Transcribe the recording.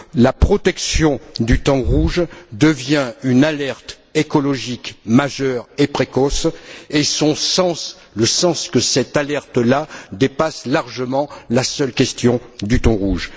La protection du thon rouge devient une alerte écologique majeure et précoce et le sens de cette alerte là dépasse largement la seule question du thon rouge.